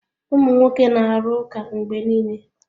Ụmụ nwoke na-arụ ụka mgbe niile.